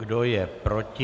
Kdo je proti?